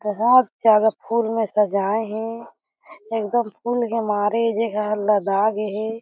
बहोत ज्यादा फूल में सजाय हे एकदम फूल के मारे ऐ जघा ह लदा गे हे।